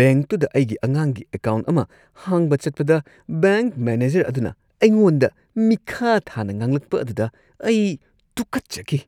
ꯕꯦꯡꯛꯇꯨꯗ ꯑꯩꯒꯤ ꯑꯉꯥꯡꯒꯤ ꯑꯦꯀꯥꯎꯟꯠ ꯑꯃ ꯍꯥꯡꯕ ꯆꯠꯄꯗ ꯕꯦꯡꯛ ꯃꯦꯅꯦꯖꯔ ꯑꯗꯨꯅ ꯑꯩꯉꯣꯟꯗ ꯃꯤꯈꯥꯊꯥꯅ ꯉꯥꯡꯂꯛꯄ ꯑꯗꯨꯗ ꯑꯩ ꯇꯨꯀꯠꯆꯈꯤ꯫